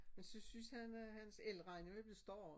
Men så synes han øh hans elregning er ved at bliver stor